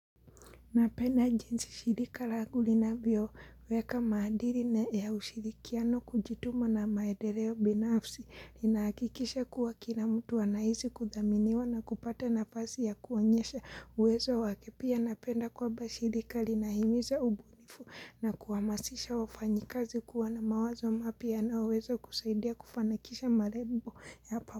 Napenda jinsi shirika langu linavyo weka maadiri na ya ushirikiano, kujituma na maedereo binafsi linaakikisha kuwa kila mtu anaisi kudhaminiwa na kupata nafasi ya kuonyesha uwezo wake. Pia napenda kwamba shirika linahimiza ubu fu na kuhamasisha wafanyikazi kuwa na mawazo mapia yanayoweza kusaidia kufanikisha marebo yapa.